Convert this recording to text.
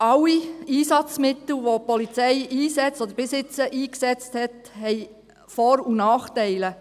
Alle Einsatzmittel, welche die Polizei einsetzt, oder bisher eingesetzt hat, haben Vor- und Nachteile.